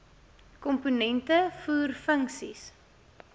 komponente voer funksies